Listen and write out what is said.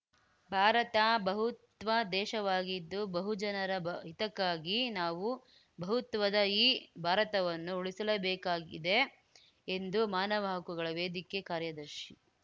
ಭಾರತ ಬಹುತ್ವ ದೇಶವಾಗಿದ್ದು ಬಹುಜನರ ಹಿತಕ್ಕಾಗಿ ನಾವು ಬಹುತ್ವದ ಈ ಭಾರತವನ್ನು ಉಳಿಸಲೇಬೇಕಾಗಿದೆ ಎಂದು ಮಾನವ ಹಕ್ಕುಗಳ ವೇದಿಕೆ ಕಾರ್ಯದರ್ಶಿ